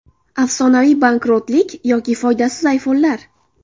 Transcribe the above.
Afsonaviy bankrotlik yoki foydasiz ayfonlar.